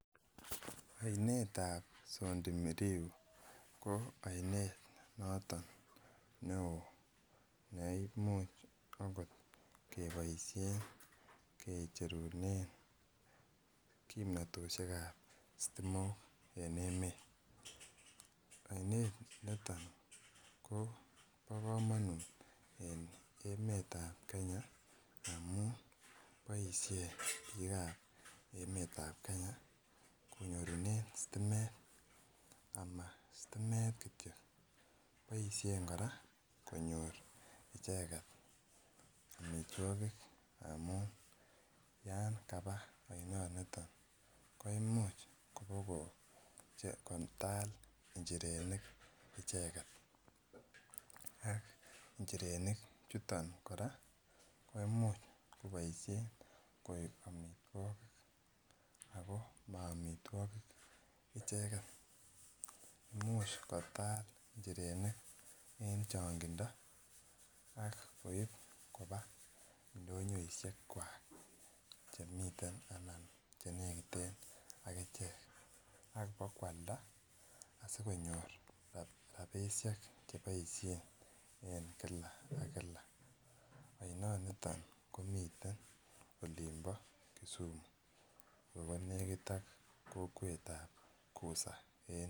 Ainet ab sondu miriu ko ainet notoon ne oo neimuuch akoot kebaisheen kecherunen kimnatosiek ab sitimook en emet ainet ne tai ko bo kamanut eng emet ab kenya amuun boisien biik ab emet ab Kenya konyoorunen stimeet ama stimeet kityo boisien kora konyoor ichegeet amitwagiik amuun yaan kabaa ainet nitoon kotal injirenik ichegeet ak injerenik chutoon kora koimuuch kobaisheen koek amitwagiik ako ma amitwagiik ichegeen imuuch koyaal injerenik eng changindo ak koib kobaa ndonyoisiek kwak che nekiteen akicheek ak iba koyaldaa asikonyoor rapisheek che baisheen eng kila ak kila ainet nitoon komiteen oliin bo Kisumu ako nekiit ak kokwet ab kusa eng.